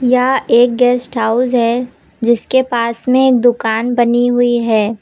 यह एक guest house है जिसके पास में एक दुकान बनी हुई है।